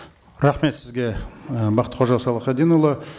рахмет сізге і бақтықожа салахатдинұлы